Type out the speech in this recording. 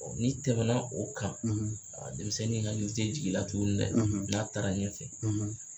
Ɔ n'i tɛmɛna o kan a denmisɛnnin hakili tɛ jigin i la tuguni dɛ n'a taara ɲɛfɛ